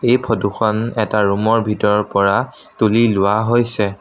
এই ফটো খন এটা ৰুম ৰ ভিতৰত পৰা তুলি লোৱা হৈছে।